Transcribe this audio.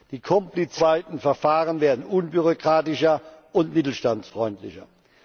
Die komplizierten EU weiten Verfahren werden unbürokratischer und mittelstandsfreundlicher.